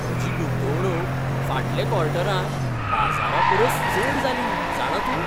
म्हजी गुंतवणूक फाटल्या क्वॉर्टरांत बाजारापरस चड जाली, जाणा तूं?